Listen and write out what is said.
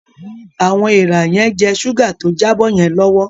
Awọn èèrà yen jẹ ṣuga tó jabo yen lọwọ